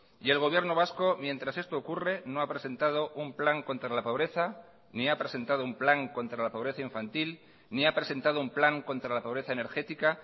y el gobierno vasco mientras esto ocurre no ha presentado un plan contra la pobreza ni ha presentado un plan contra la pobreza infantil ni ha presentado un plan contra la pobreza energética